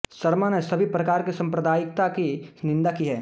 शर्मा ने सभी प्रकार की सांप्रदायिकता की निंदा की है